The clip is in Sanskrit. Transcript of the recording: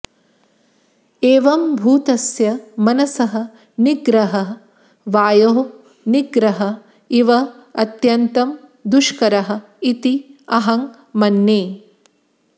एवम्भूतस्य मनसः निग्रहः वायोः निग्रहः इव अत्यन्तं दुष्करः इति अहं मन्ये